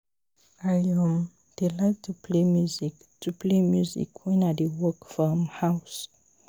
I um dey like to play music to play music wen I dey work for um house